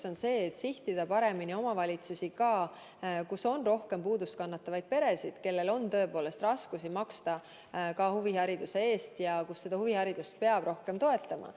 Esiteks seda, et sihtida paremini neid omavalitsusi, kus on rohkem puudust kannatavaid peresid, kellel on tõepoolest raskusi maksta huvihariduse eest, ja kus huviharidust peab rohkem toetama.